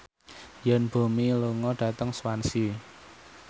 Yoon Bomi lunga dhateng Swansea